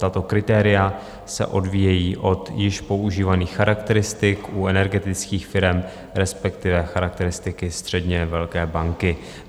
Tato kritéria se odvíjejí od již používaných charakteristik u energetických firem, respektive charakteristiky středně velké banky.